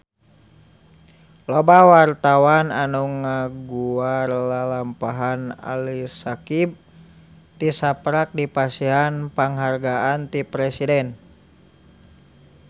Loba wartawan anu ngaguar lalampahan Ali Syakieb tisaprak dipasihan panghargaan ti Presiden